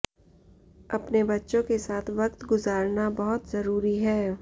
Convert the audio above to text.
अपने बच्चों के साथ वक्त गुजारना बहुत जरूरी है